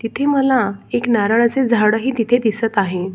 तिथे मला एक नारळाच झाड ही तिथे दिसत आहे.